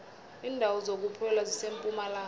indawo zokuphola zisempumalanga